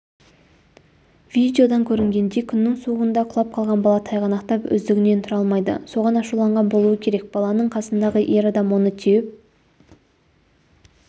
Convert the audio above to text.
видеодан көрінгендей күннің суығында құлап қалған бала тайғанақтап өздігінен тұра алмайды соған ашуланған болуы керек баланың қасындағы ер адам оны теуіп